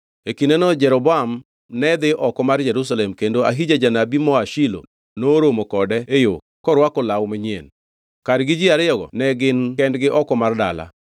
E kindeno Jeroboam ne dhi oko mar Jerusalem kendo Ahija janabi moa Shilo noromo kode e yo korwako law manyien: Kargi ji ariyogo ne gin kendgi oko mar dala,